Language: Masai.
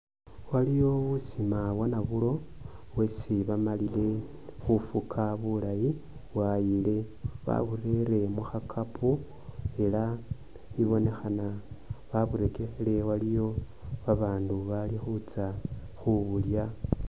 Waliyo busima bwanabulo bwesi bamalile khufuka bulaayi bwayile baburere mukhakapo, elah ibonekhana baburekekhile waliyo babaandu bali khutsa khubulya